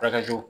Furakɛliw